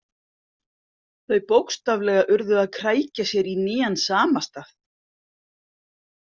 Þau bókstaflega urðu að krækja sér í nýjan samastað.